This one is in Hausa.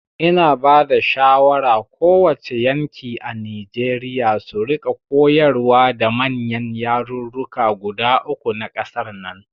Ina bada shawara ko wace yanki a Nijeriya su rika koyarwa da manyan yarurruka guda uku na ƙasar nan